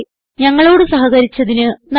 ഞങ്ങളോട് സഹകരിച്ചതിന് നന്ദി